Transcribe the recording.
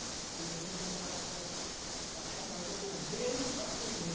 E a gente andava atrás de achar banana verde para comer.